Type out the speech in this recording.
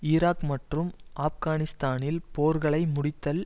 Iraq மற்றும் ஆப்கானிஸ்தானில் போர்களை முடித்தல்